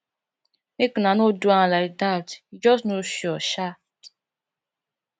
make una no do am like dat he just no sure um